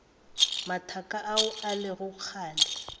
mathaka ao e lego kgale